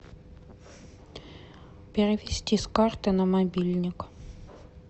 перевести с карты на мобильник